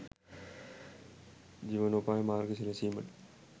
ජීවනෝපාය මාර්ග සැලසීමට